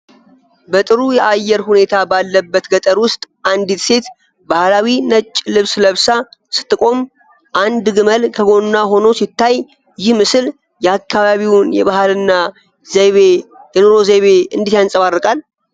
በጥሩ የአየር ሁኔታ ባለበት ገጠር ውስጥ አንዲት ሴት ባህላዊ ነጭ ልብስ ለብሳ ስትቆም፣ አንድ ግመል ከጎኗ ሆኖ ሲታይ፣ ይህ ምስል የአካባቢውን የባህልና የኑሮ ዘይቤ እንዴት ያንፀባርቃል?